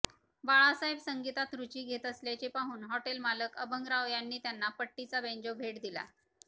बाळासाहेब संगीतात रूची घेत असल्याचे पाहून हॉटेलमालक अभंगराव यांनी त्यांना पट्टीचा बेंजो भेट दिला